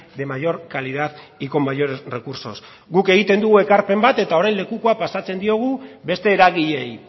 de mayor calidad y con mayores recursos guk egiten dugu ekarpen bat eta orain lekukoa pasatzen diogu beste eragileei